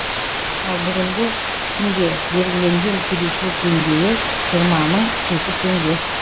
ал бүгінгі күнге белгіленген кедейшілік деңгейі жиырма мың жеті теңге